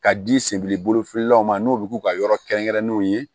Ka di senbiri bolo filanan ma n'o bi k'u ka yɔrɔ kɛrɛnkɛrɛnnenw ye